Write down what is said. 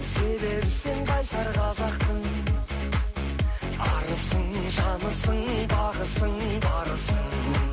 себебі сен қайсар қазақтың арысың жанысың бағысың барысың